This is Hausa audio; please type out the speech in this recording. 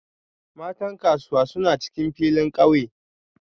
Matan Kasuwa suna cikin filin kauye